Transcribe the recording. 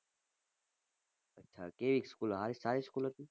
અચ્છા કેવી school હા સારી school હતી?